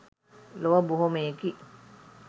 ලොව බොහොමයකි.